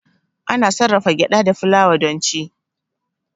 Ana sarrafa gyada da fulawa don ci.